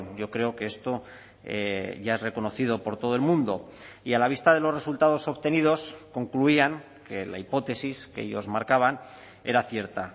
yo creo que esto ya es reconocido por todo el mundo y a la vista de los resultados obtenidos concluían que la hipótesis que ellos marcaban era cierta